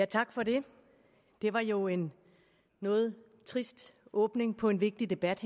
tak for det det var jo en noget trist åbning på en vigtig debat